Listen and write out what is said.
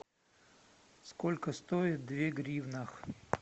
сколько стоит две гривнах